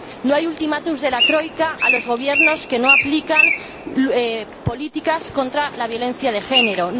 No hay ultimátum de la troika a los gobiernos que no aplican políticas contra la violencia de género